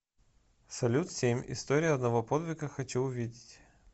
салют семь история одного подвига хочу увидеть